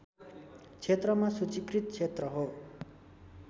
क्षेत्रमा सूचीकृत क्षेत्र हो